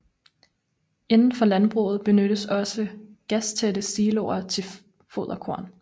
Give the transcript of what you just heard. Indenfor landbruget benyttes også gastætte siloer til foderkorn